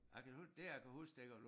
Ja kan huske det kan jeg huske dengang